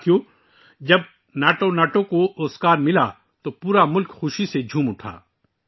دوستو، جب ناٹو ناٹو نے آسکر جیتا تو پورا ملک خوشی سے جھوم اٹھا